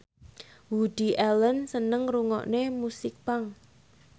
Woody Allen seneng ngrungokne musik punk